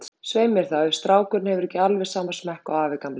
Svei mér þá, ef strákurinn hefur ekki alveg sama smekk og afi gamli.